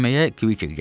Kvikker gəldi.